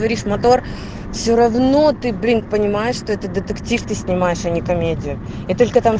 борис мотор все равно ты блин понимаешь что это детектив ты снимаешь а не комедию и только там